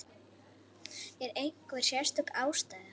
Er einhver sérstök ástæða?